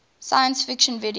science fiction video